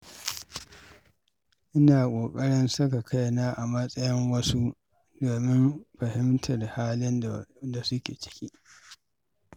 Ina ƙoƙarin saka kaina a matsayin wasu domin fahimtar halin da suke ciki.